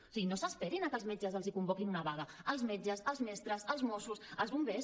o sigui no s’esperin a que els metges els convoquin una vaga els metges els mestres els mossos els bombers